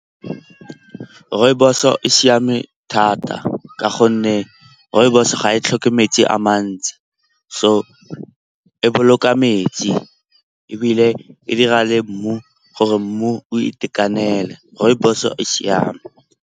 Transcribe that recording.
Rooibos-o e siame thata ka gonne rooibos-o ga e tlhoke metsi a mantsi. So e boloka metsi ebile e dira le mmu gore mmu o itekanele. Rooibos-o e siame.